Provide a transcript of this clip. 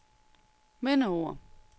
mindeord